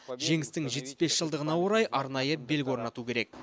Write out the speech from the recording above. жеңістің жетпіс бес жылдығына орай арнайы белгі орнату керек